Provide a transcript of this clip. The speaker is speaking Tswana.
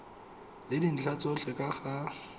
le dintlha tsotlhe ka ga